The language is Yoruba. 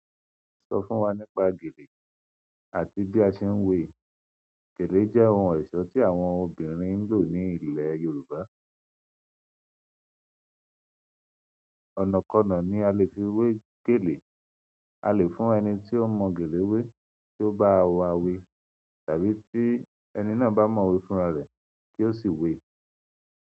Sọ fún wa nípa gèlè àti bí a ṣe ń wé. Gèlè jẹ́ ohun ẹ̀ṣọ́ tí àwọn obìnrin ń lò ní ilẹ̀ Yorùbá. Ọ̀nà kan náà ni a lè fi wé gèlè. A lè fún ẹni tí ó mọ gèlè wé tí ó bá wá wé, tàbí tí ẹni náà bá mọ we fúnra rẹ̀ kí ó yì wé.